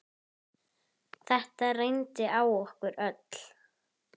Þetta reyndi á okkur öll.